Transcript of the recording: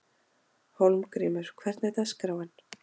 Hólmgrímur, hvernig er dagskráin?